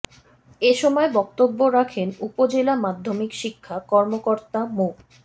এ সময় বক্তব্য রাখেন উপজেলা মাধ্যমিক শিক্ষা কর্মকর্তা মো